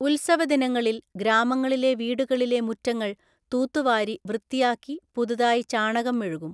ഉത്സവദിവസങ്ങളിൽ ഗ്രാമങ്ങളിലെ വീടുകളിലെ മുറ്റങ്ങൾ തൂത്തുവാരി വൃത്തിയാക്കി പുതുതായി ചാണകം മെഴുകും.